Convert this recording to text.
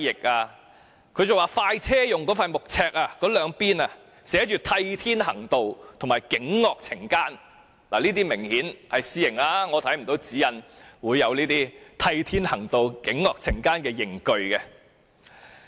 他們更說"快車"用的那塊木尺的兩邊寫着"替天行道"和"儆惡懲奸"，這些很明顯是私刑，指引沒有列出這種"替天行道"或"儆惡懲奸"的刑具。